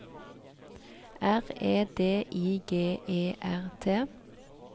R E D I G E R T